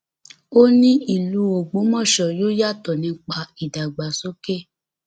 ó ní ìlú ọgbọmọso yóò yàtọ nípa ìdàgbàsókè